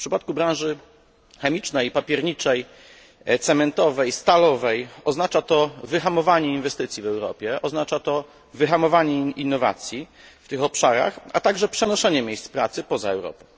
W przypadku branży chemicznej i papierniczej, cementowej, stalowej oznacza to wyhamowanie inwestycji w Europie, oznacza to wyhamowanie innowacji w tych obszarach, a także przenoszenie miejsc pracy poza Europę.